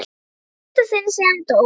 Í fyrsta sinn síðan hann dó.